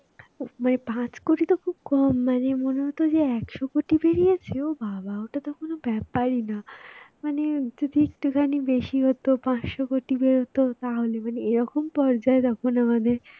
মানে পাঁচ কোটি তো খুব কম মানে মনে হতো যে একশ কোটি বেরিয়েছে ও বাবা ওটা তো কোন ব্যাপারই না মানে যদি একটুখানি বেশি হত পাঁচশ কোটি বের হতো তাহলে মানে এরকম পর্যায়ে যখন আমাদের